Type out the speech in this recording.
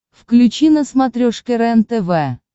включи на смотрешке рентв